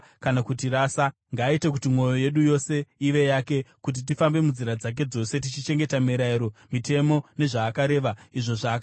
Ngaaite kuti mwoyo yedu yose ive yake, kuti tifambe munzira dzake dzose tichichengeta mirayiro, mitemo nezvaakareva izvo zvaakapa madzibaba edu.